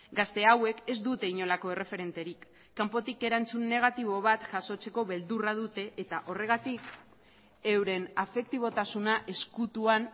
gazte hauek ez dute inolako erreferenterik kanpotik erantzun negatibo bat jasotzeko beldurra dute eta horregatik euren afektibotasuna ezkutuan